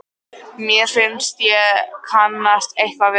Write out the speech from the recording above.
Mér finnst ég kannast eitthvað við þig?